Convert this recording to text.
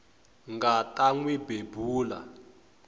nga ta n wi bebula